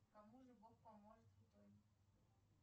кому же бог поможет в итоге